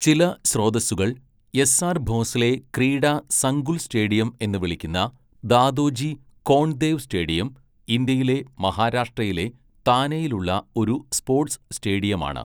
ചില സ്രോതസുകൾ S R Bhosle Krida Sankul stadium എന്ന് വിളിക്കുന്ന ദാദോജി കോണ്ട്ദേവ് സ്റ്റേഡിയം, ഇന്ത്യയിലെ മഹാരാഷ്ട്രയിലെ താനെയിലുള്ള ഒരു സ്പോട്സ് സ്റ്റേഡിയമാണ്.